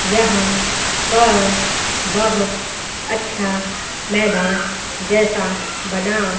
यहां पर बहोत अच्छा मैदान जैसा बना--